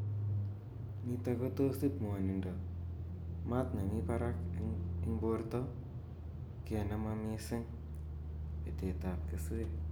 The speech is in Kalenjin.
Nitok ko tos ip ngwonindo, mat ne mi parak ing porto ka ne mamising petet ap keswek.